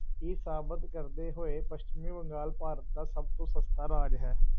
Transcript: ਇਹ ਸਾਬਿਤ ਕਰਦੇ ਹੋਏ ਪੱਛਮੀ ਬੰਗਾਲ ਭਾਰਤ ਦਾ ਸਭ ਤੋਂ ਸਸਤਾ ਰਾਜ ਹੈ।